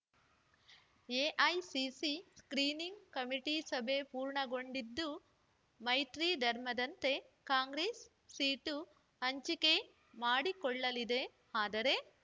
AICC screening committee ಸಭೆ ಪೂರ್ಣಗೊಂಡಿದ್ದು ಮೈತ್ರಿ ಧರ್ಮದಂತೆ ಕಾಂಗ್ರೆಸ್ ಸೀಟು ಹಂಚಿಕೆ ಮಾಡಿಕೊಳ್ಳಲಿದೆಆದರೆ